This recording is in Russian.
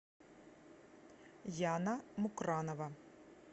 яна мукранова